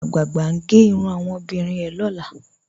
Awọn agbáàgbà n gè irùn awọn omọbìrín rẹ̀ lọ́lá.